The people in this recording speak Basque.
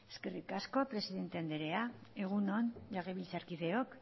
eskerrik asko presidente andrea egun on legebiltzarkideok